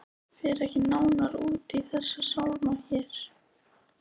Ég fer ekki nánar út í þessa sálma hér.